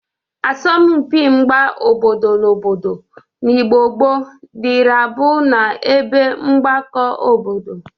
Asọmpị mgba obodo na obodo n'Igbo gboo dịrị abụ n'ebe mgbakọ obodo.